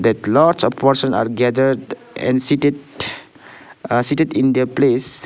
that lots of person are gathered and seated ah seated in their place.